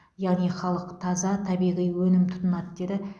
яғни халық таза табиғи өнім тұтынады деді